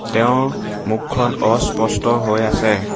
তেওঁৰ মুখখন অস্পষ্ট হৈ আছে।